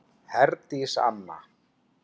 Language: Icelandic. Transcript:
Herdís Anna.